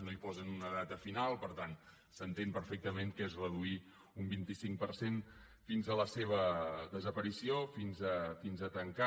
no hi posen una data final per tant s’entén perfectament que és reduir un vint cinc per cent fins a la seva desaparició fins a tancar